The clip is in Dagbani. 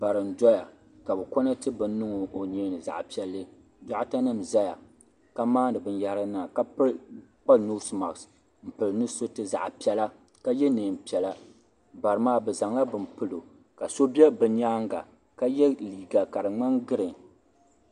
bari n doya ka bi konɛti bin niŋ o nyeeni zaɣ piɛlli dokta nim ʒɛya ka maandi binyahri niŋda ka kpa noos mask n pili nusuriti zaɣ piɛla ka yɛ neen piɛla bari maa bi zaŋla bini pilo ka so bɛ bi nyaanga ka yɛ liiga ka di ŋmani giriin